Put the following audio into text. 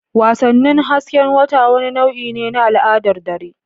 Wasannin hasken wata wani nau'i ne na al'adar dare.